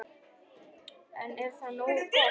En er það nógu gott?